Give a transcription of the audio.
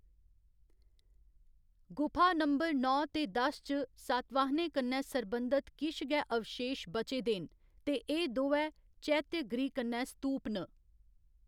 गुफा नंबर नौ ते दस च सातवाहनें कन्नै सरबंधत किश गै अवशेश बचे दे न ते एह्‌‌ दोऐ चैत्य गृह कन्नै स्तूप न।